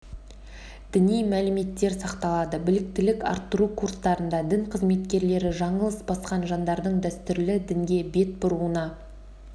діни мәліметтер сақталады біліктілік арттыру курстарында дін қызметкерлері жаңылыс басқан жандардың дәстүрлі дінге бет бұруына